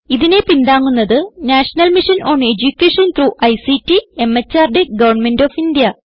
ഇതിനെ പിന്താങ്ങുന്നത് national mission on education through ICT MHRD government of India